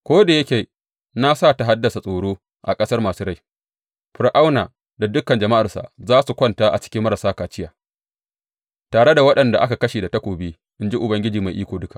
Ko da yake na sa ta haddasa tsoro a ƙasar masu rai, Fir’auna da dukan jama’arsa za su kwanta a cikin marasa kaciya, tare da waɗanda aka kashe da takobi, in ji Ubangiji Mai Iko Duka.